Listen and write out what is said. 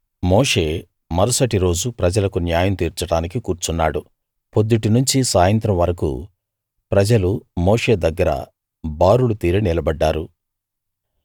మోషే మరుసటి రోజు ప్రజలకు న్యాయం తీర్చడానికి కూర్చున్నాడు పొద్దుటి నుంచి సాయంత్రం వరకూ ప్రజలు మోషే దగ్గర బారులు తీరి నిలబడ్డారు